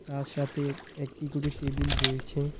তার সাথে একটি করে টেবিল রয়েছে।